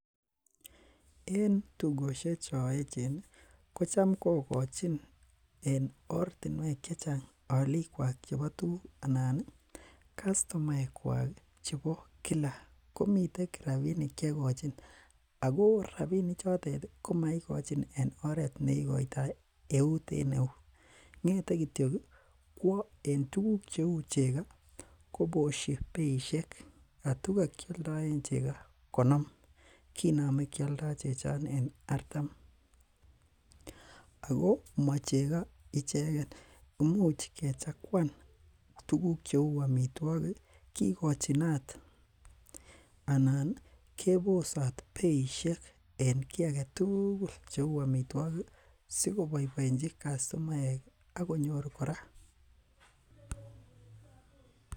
En tugoshek cheechen kocham kogochin en oretnuek chechang aliik kwak chebo tuguk anan ih kastomaek kwak chebo Kila kimiten rabinik chegochin Ako rabinik choton komaigochin en oret nei eut en eut ng'ete kwa en tuguk cheuu chego koboshi beisiek attu ka koaldo en konom koname koaldo chechoton en artam . Ako machego icheken imuch kechagwan tukuk cheuu amituakik kikochinot anan kebosat beishek en kiage tugul cheuu amituakik sikoboiboenchi kastomaek Akonyor kora